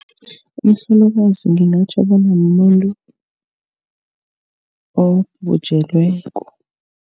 Umhlolokazi ngingatjho bona mumuntu obhujelweko.